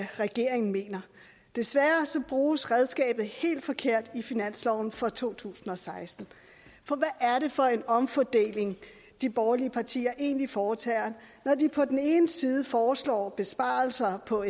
regeringen mener desværre bruges redskabet helt forkert i finansloven for to tusind og seksten for hvad er det for en omfordeling de borgerlige partier egentlig foretager når de på den ene side foreslår besparelser på